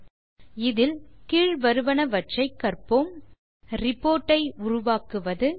இந்த டுடோரியலில் கீழ் வருவனவற்றை கற்போம் ரிப்போர்ட் ஐ உருவாக்குவது